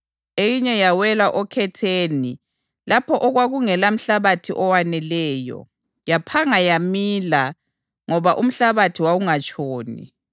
Eyinye yawela okhetheni lapho okwakungela mhlabathi owaneleyo. Yaphanga yamila ngoba umhlabathi wawungatshoni.